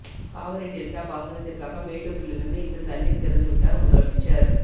Kaveri delta பாசனத்திற்காக மேட்டூரிலிருந்து இன்று தண்ணீர் திறந்து விட்டார் முதலமைச்சர்